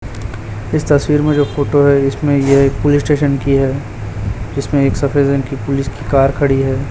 इस तस्वीर में जो फोटो है इसमें ये एक पुलिस स्टेशन की है जिसमें एक सफेद रंग की पुलिस की कार खड़ी है।